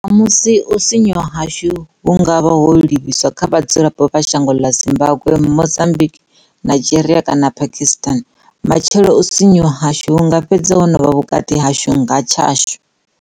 Ṋamusi, u sinyuwa hashu hu nga vha ho livhiswa kha vhadzulapo vha shango ḽa Zimbambwe, Mozambique, Nigeria kana Paki stan. Matshelo, u sinyuwa hashu hu nga fhedza ho no vha vhukati hashu nga tshashu.